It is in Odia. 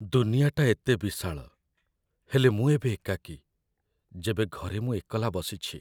ଦୁନିଆଟା ଏତେ ବିଶାଳ, ହେଲେ ମୁଁ ଏବେ ଏକାକୀ, ଯେବେ ଘରେ ମୁଁ ଏକଲା ବସିଛି।